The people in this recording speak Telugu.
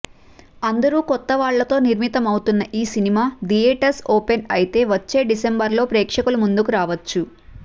అందరూ కొత్తవాళ్లతో నిర్మితమవుతున్న ఈ సినిమా థియోటర్స్ ఓపెన్ అయితే వచ్చే డిసెంబర్ లో ప్రేక్షకుల ముందుకు రావచ్చు